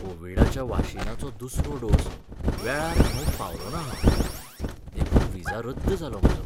कोवीडाच्या वाशिनाचो दुसरो डोस वेळार घेवंक पावलोंना हांव. देखून व्हिजा रद्द जालो म्हजो.